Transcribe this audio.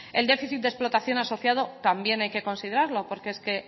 el déficit de explotación asociado también hay que considerarlo porque es que